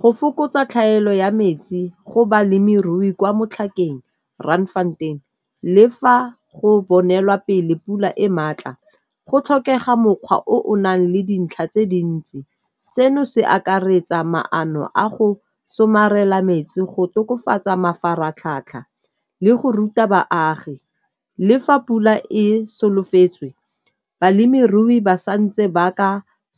Go fokotsa tlhaelo ya metsi go balemirui kwa Motlhakeng Randfontein, le fa go bonelwa pele pula e maatla go tlhokega mokgwa o o nang le dintlha tse dintsi. Seno se akaretsa maano a go somarela metsi go tokafatsa mafaratlhatlha le go ruta baagi. Le fa pula e solofetswe, balemirui ba sa ntse ba ka